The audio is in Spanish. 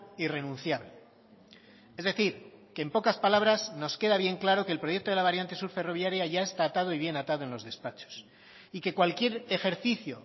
irrenunciable es decir que en pocas palabras nos queda bien claro que el proyecto de la variante sur ferroviaria ya está atado y bien atado en los despachos y que cualquier ejercicio